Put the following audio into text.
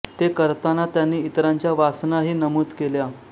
ते करताना त्यांनी इतरांच्या वासना ही नमूद केल्या